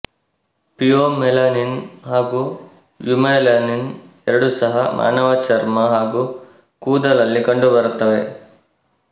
pheomelanin ಹಾಗು eumelanin ಎರಡೂ ಸಹ ಮಾನವ ಚರ್ಮ ಹಾಗು ಕೂದಲಲ್ಲಿ ಕಂಡುಬರುತ್ತವೆ